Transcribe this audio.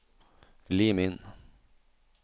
Lim inn